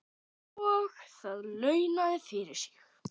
Og það launaði fyrir sig.